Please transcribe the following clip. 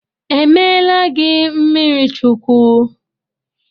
Emeela gị mmiri Chukwu?